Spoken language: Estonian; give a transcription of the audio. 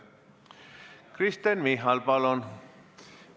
Kristen Michal, palun!